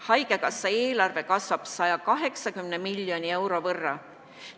Haigekassa eelarve kasvab 180 miljoni euro võrra.